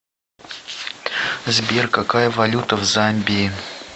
сбер какая валюта в замбии